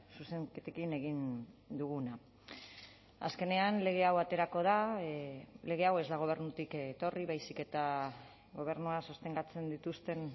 zuzenketekin egin duguna azkenean lege hau aterako da lege hau ez da gobernutik etorri baizik eta gobernua sostengatzen dituzten